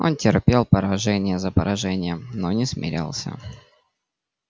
он терпел поражение за поражением но не смирялся